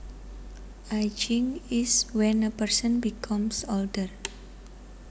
Ageing is when a person becomes older